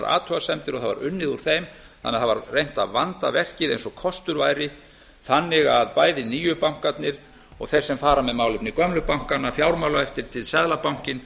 athugasemdir og það var unnið úr þeim þannig að það var reynt að vanda verkið eins og kostur væri þannig að bæði nýju bankarnir og þeir sem fara með málefni gömlu bankanna fjármálaeftirlitið seðlabankinn